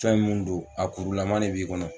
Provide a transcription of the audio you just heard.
Fɛn minnu do a kurulama de b'i kɔnɔ